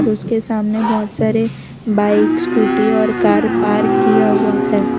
उसके सामने बहोत सारे बाइक स्कूटी और कार पार्क किया हुआ है।